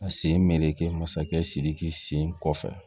A sen meere masakɛ sidiki sen kɔfɛ